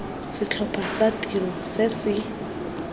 setlhopha sa tiro se se